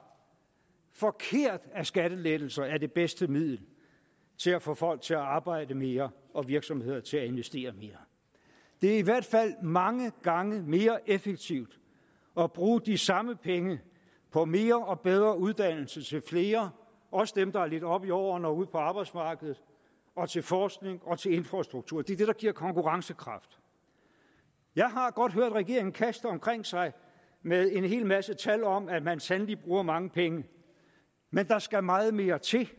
forkert at skattelettelser er det bedste middel til at få folk til at arbejde mere og virksomheder til at investere mere det er i hvert fald mange gange mere effektivt at bruge de samme penge på mere og bedre uddannelse til flere også dem der er lidt oppe i årene og ude på arbejdsmarkedet og til forskning og infrastruktur det er det det giver konkurrencekraft jeg har godt hørt regeringen kaste omkring sig med en hel masse tal om at man sandelig bruger mange penge men der skal meget mere til